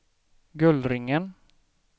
Gullringen